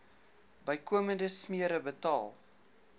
bykomende smere betaal